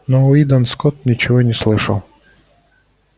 но уидон скотт ничего не слышал